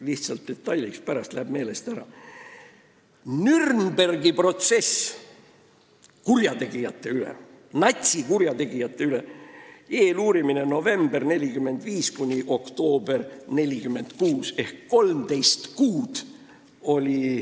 Lihtsalt üks detail : Nürnbergi protsess natsikurjategijate üle, eeluurimine novembrist 1945 kuni oktoobrini 1946.